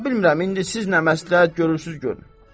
Təbi bilmirəm indi siz nə məsləhət görürsüz, görün.